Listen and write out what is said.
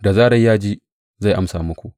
Da zarar ya ji, zai amsa muku.